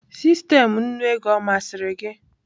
Sistemụ nnu ego ọ masịrị gị?